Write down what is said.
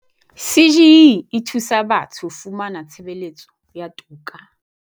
CGE e thusa batho ho fumana tshebeletso ya toka.